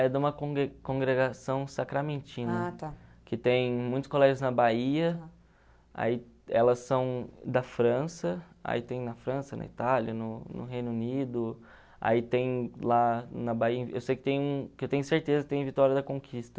É de uma congre congregação sacramentina... Ah, tá... que tem muitos colegas na Bahia, aí elas são da França, aí tem na França, na Itália, no no Reino Unido, aí tem lá na Bahia, eu sei que tem, que eu tenho certeza que tem em Vitória da Conquista.